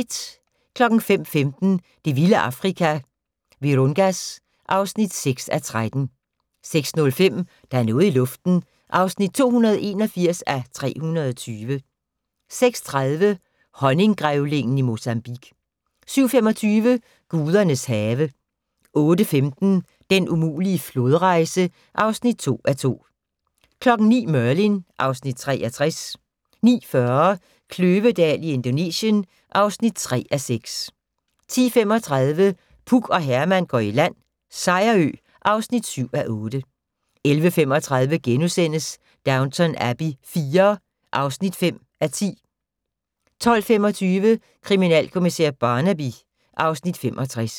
05:15: Det vilde Afrika - Virungas (6:13) 06:05: Der er noget i luften (281:320) 06:30: Honninggrævlingen i Mozambique 07:25: Gudernes have 08:15: Den umulige flodrejse (2:2) 09:00: Merlin (Afs. 63) 09:40: Kløvedal i Indonesien (3:6) 10:35: Puk og Herman går i land - Sejerø (7:8) 11:35: Downton Abbey IV (5:10)* 12:25: Kriminalkommissær Barnaby (Afs. 65)